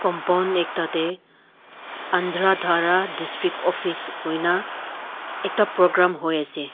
ekta te ananda dhara district office koi na ekta program hoi ase.